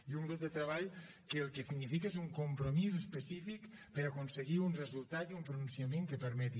i un grup de treball que el que significa és un compromís específic per aconseguir un resultat i un pronunciament que permeti